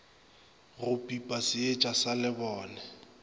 bo pipa seetša sa lebone